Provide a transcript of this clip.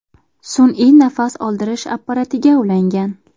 sun’iy nafas oldirish apparatiga ulangan.